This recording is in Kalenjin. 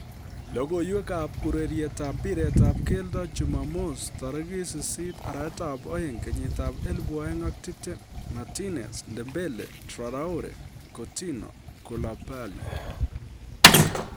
logoiywekab urerietab mpiretab keldo jumamos 08.02.2020: Martinez, Dembele, Traore, Coutinho, Koulibaly